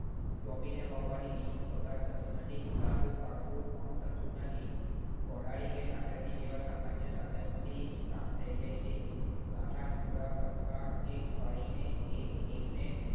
ચોંપીને વાવવાથી બીજનો બગાડ થતો નથી, પાડવું પણ થતું નથી. કોદાળી કે દાતરડી જેવા સામાન્ય સાધનોથી જ કામ થઈ જાય છે. ગાંઠા ટુકડા કટકા કે કળીને એક એક ને